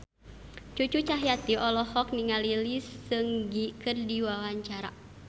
Cucu Cahyati olohok ningali Lee Seung Gi keur diwawancara